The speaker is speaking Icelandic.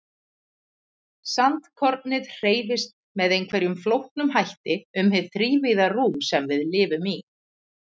Sandkornið hreyfist með einhverjum flóknum hætti um hið þrívíða rúm sem við lifum í.